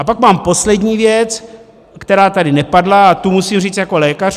A pak mám poslední věc, která tady nepadla, a tu musím říct jako lékař.